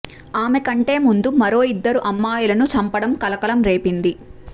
ఆమె కంటే ముందు మరో ఇద్దరు అమ్మాయిలను చంపడం కలకలం రేపింది